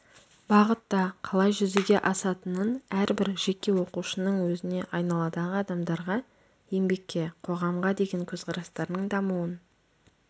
бағытта қалай жүзеге асатынын әрбір жеке оқушының өзіне айналадағы адамдарға еңбекке қоғамға деген көзқарастарының дамуын